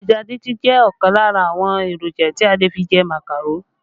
Ẹja díndín jẹ́ ọ̀kan lára àwọn èròjà tí a lè fi jẹ màkàró